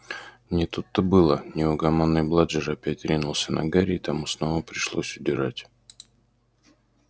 не тут-то было неугомонный бладжер опять ринулся на гарри и тому снова пришлось удирать